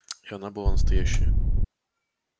и она была настоящая